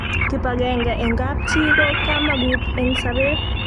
kip akenge eng kap chii ko kamagut eng sabet